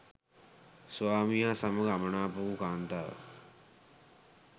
ස්වාමියා සමඟ අමනාප වූ කාන්තාවක්